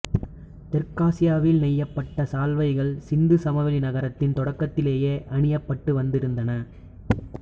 தெற்காசியாவில் நெய்யப்பட்ட சால்வைகள் சிந்து சமவெளி நாகரிகத்தின் தொடக்கத்திலேயே அணியப்பட்டு வந்திருந்தன